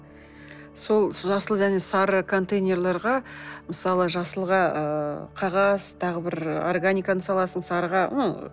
сол жасыл және сары контейнерлерге мысалы жасылға ыыы қағаз тағы бір органиканы саласың сарыға